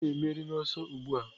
Onye na-emeri n'ọsọ a ugbu a?